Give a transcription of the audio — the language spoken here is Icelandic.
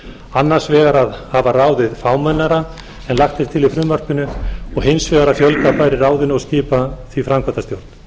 annars vegar að hafa ráðið fámennara en lagt er til í frumvarpinu og hins vegar að fjölga bæri í ráðinu og skipa því framkvæmdastjórn